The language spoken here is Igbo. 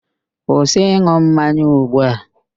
Kwụsị ịn̄ụ mmanya ugbu a!